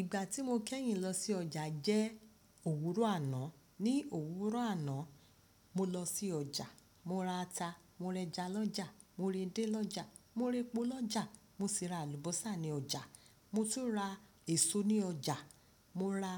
Ìgbà tí mo kẹ́yìn lọ sí ọjà jẹ́ òwúrọ̀ àná. Ni òwúrọ̀ àná, mo lọ sí ọjà, mo ra ata, mo rẹja lọ́jà, mo réde lọ́jà, mo répo lọ́jà, mo sì ra àlùbọ́sà ní ọjà. Mo tún ra èso ní ọjà, mo ra